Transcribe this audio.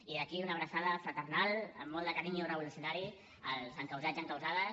i des d’aquí una abraçada fraternal amb molt de carinyo revolucionari als encausats i encausades